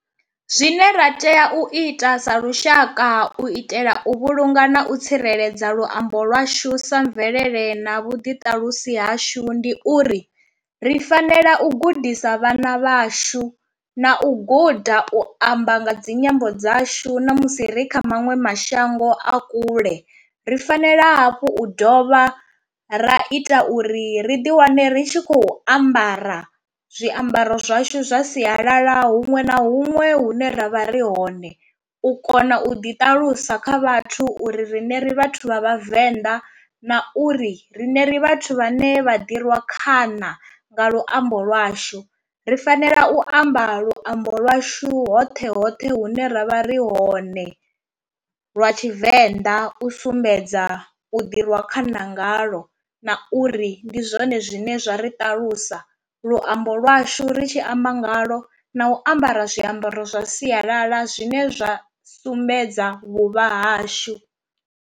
Zwine ra tea u ita sa lushaka u itela u vhulunga na u tsireledza luambo lwashu sa mvelele na vhuḓiṱalusi hashu ndi uri, ri fanela u gudisa vhana vhashu na u guda u amba nga dzinyambo dzashu na musi ri kha maṅwe mashango a kule, ri fanela hafhu u dovha ra ita uri ri ḓi wane ri tshi khou ambara zwiambaro zwashu zwa sialala huṅwe na huṅwe hune ravha ri hone u kona u ḓi ṱalusa kha vhathu uri rine ri vhathu vha vhavenḓa na uri rine ri vhathu vha ne vha ḓi rwa khana nga luambo lwashu, ri fanela u amba luambo lwashu hoṱhe hoṱhe hune ra vha ri hone lwa tshivenḓa u sumbedza u ḓi rwa khana ngaḽo na uri ri ndi zwone zwine zwa ri ṱalusa, luambo lwashu ri tshi amba ngalwo na u ambara zwiambaro zwa sialala zwine zwa sumbedza vhuvha hashu.